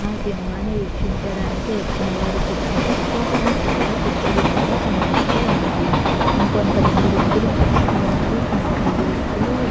ఆ సినిమాని వీక్షించడానికి వచ్చినవారు కూర్చున్నటకు అక్కడ చాలా కుర్చీలు కూడా కనిపిస్తూ ఉన్నాయి. ఇంకొంతమంది వ్యక్తులు కూర్చుని ఉన్నారు కొంతమంది వ్యక్తులు --